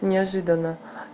неожиданно